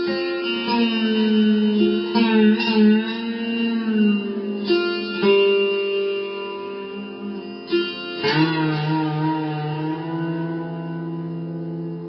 ଜୟଦୀପ ମୁଖାର୍ଜୀଙ୍କ ସୂରସିଙ୍ଗାର୍ ବାଦନ